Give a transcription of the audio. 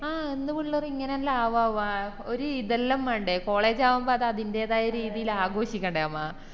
ആഹ് എന്ത് പിള്ളറാ ഇങ്ങനെല്ലാം ആവാവ ഒര് ഇതെല്ലം വേണ്ടേ college ആവുമ്പൊ അത് അതിന്റെതായ രീതില് ആഘോഷിക്കണ്ടേ നമ്മ